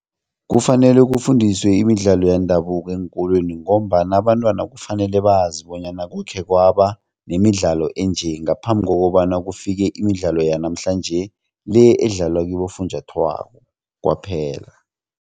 Kufanele kufundiswe imidlalo yendabuko eenkolweni ngombana abantwana kufanele bazi bonyana kukhe kwaba nemidlalo enje ngaphambi kokobana kufike imidlalo yanamhlanje le edlalwa kibofunjathwako kwaphela.